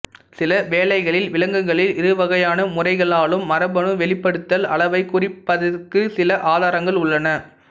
சில வேளைகளில் விலங்குகளில் இரு வகையான முறைகளாலும் மரபணு வெளிப்படுத்தல் அளவை குறைப்பதற்குச் சில ஆதாரங்கள் உள்ளன